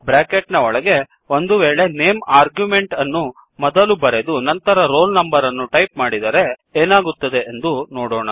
bracket ನ ಒಳಗೆ ಒಂದುವೇಳೆ ನೇಮ್ ಆರ್ಗ್ಯುಮೆಂಟ್ ಅನ್ನು ಮೊದಲು ಬರೆದು ನಂತರ ರೋಲ್ ನಂಬರ್ ಅನ್ನು ಟೈಪ್ ಮಾಡಿದರೆ ಏನಾಗುತ್ತದೆಂದು ನೋಡೋಣ